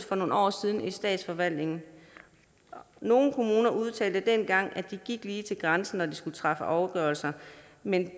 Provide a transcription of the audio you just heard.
for nogle år siden i statsforvaltningen nogle kommuner udtalte dengang at de gik lige til grænsen når de skulle træffe afgørelser men